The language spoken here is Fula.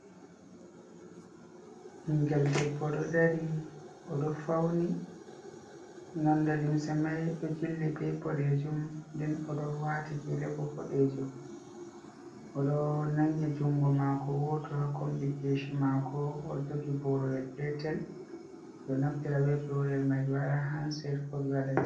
Ɓingel ɗeɓɓo ɗo ɗari, oɗo fauni. Nonɗe limse mai ɗo jilli ɓe ɓoɗejum, ɗen oɗo wati gele ɓo ɓoɗejum. Oɗo nangi jungo mako woto ha komɓi keshi mako, oɗo jogi ɓoroyel petel. Ɓe ɗo naftira ɓe ɓorel mai ɓe waɗa hancet, ko ɓe waɗa.